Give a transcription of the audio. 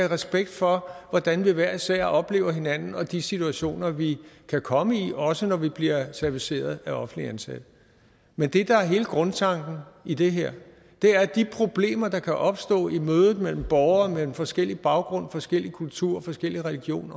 respekt for hvordan vi hver især oplever hinanden og de situationer vi kan komme i også når vi bliver serviceret af offentligt ansatte men det der er hele grundtanken i det her er at de problemer der kan opstå i mødet mellem borgere med forskellig baggrund forskellige kulturer forskellige religion